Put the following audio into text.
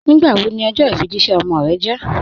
Nígbàwó ní ọjọ ifíjìṣẹ̀ ọmọ rẹ̀ jẹ̀?